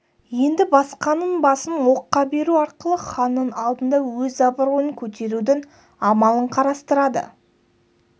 енді басқаның басын оққа беру арқылы ханның алдында өз абыройын көтерудің амалын қарастырады